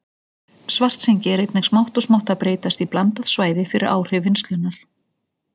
Svartsengi er einnig smátt og smátt að breytast í blandað svæði fyrir áhrif vinnslunnar.